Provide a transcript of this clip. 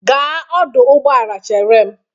Gaa ọdụ ụgbọala chere m!